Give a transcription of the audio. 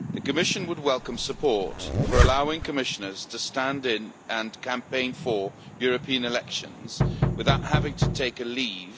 The Commission would welcome support for allowing Commissioners to stand in, and campaign for, European elections without having to take leave